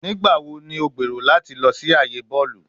Nigbawo ni o gbero lati lọ si aaye bọọlu?